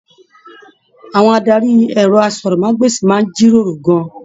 Àwọn adarí ẹrọ àsọ̀rọ̀mágbèsi máa n jíròrò gán-an.